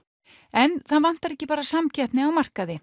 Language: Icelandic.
en það vantar ekki bara samkeppni á markaði